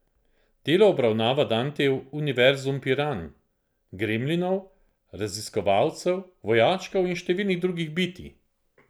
Delo obravnava Dantejev univerzum piranh, gremlinov, raziskovalcev, vojačkov in številnih drugih bitij.